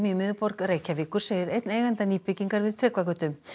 í miðborg Reykjavíkur segir einn eigenda nýbyggingar við Tryggvagötu